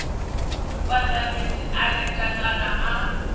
mupandamedzi a neta kana a